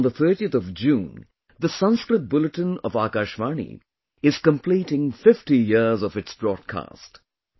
Today, on the 30th of June, the Sanskrit Bulletin of Akashvani is completing 50 years of its broadcast